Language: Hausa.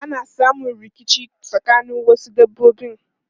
Ana samun rikici tsakanin wasu dabbobi.